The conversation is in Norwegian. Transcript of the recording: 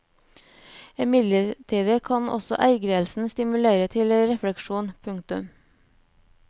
Imidlertid kan også ergrelsen stimulere til refleksjon. punktum